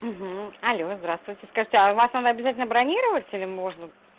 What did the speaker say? алло здравствуйте скажите а у вас надо обязательно бронировать или можно